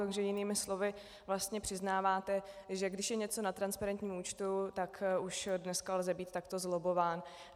Takže jinými slovy vlastně přiznáváte, že když je něco na transparentním účtu, tak už dneska lze být takto zlobbován.